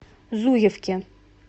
зуевке